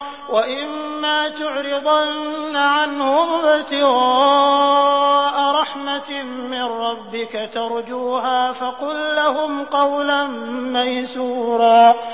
وَإِمَّا تُعْرِضَنَّ عَنْهُمُ ابْتِغَاءَ رَحْمَةٍ مِّن رَّبِّكَ تَرْجُوهَا فَقُل لَّهُمْ قَوْلًا مَّيْسُورًا